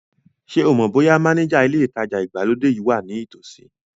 Ṣé o mọ̀ bóyá mánéjà ilé ìtajà ìgbàlódé yìí wà ní ìtòsí